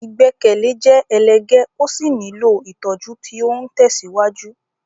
Ìgbẹ́kẹ̀lé jẹ́ ẹlẹ́gẹ́ ó sì nílò ìtọ́jú tí ó ń tẹ̀síwájú.